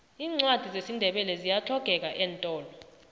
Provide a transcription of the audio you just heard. iincwadi zesindebele ziyahlogeka eentolo